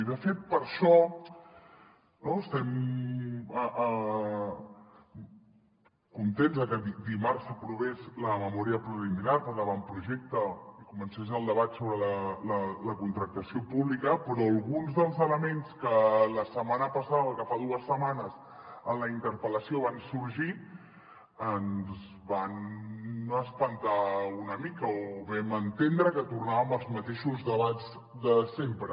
i de fet per això estem contents de que dimarts s’aprovés la memòria preliminar per a l’avantprojecte i comencés el debat sobre la contractació pública però alguns dels elements que la setmana passada o que fa dues setmanes en la interpel·lació van sorgir ens van espantar una mica o vam entendre que tornàvem als mateixos debats de sempre